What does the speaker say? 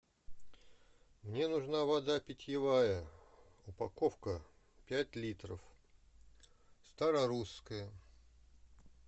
мне нужна вода питьевая упаковка пять литров старорусская